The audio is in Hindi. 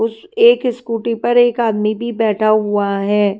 उस एक स्कूटी पर एक आदमी भी बैठा हुआ है।